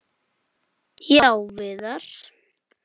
Já, Viðar.